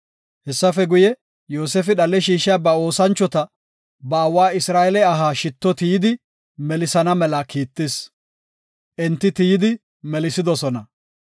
Hessafe guye, Yoosefi dhale shiishiya ba oosanchota, ba aawa Isra7eele aha shitto tiyidi melisana mela kiittis. Enti tiyidi melisidosona.